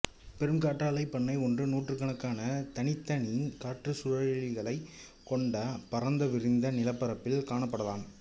பெரும் காற்றாலைப் பண்ணை ஒன்று நூற்றுக் கணக்கான தனித்தனி காற்றுச்சுழலிகளைக் கொண்ட பரந்துவிரிந்த நிலப்பரப்பில் காணப்படலாம்